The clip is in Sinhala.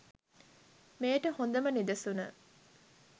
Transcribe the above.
මෙයට හොඳම නිදසුන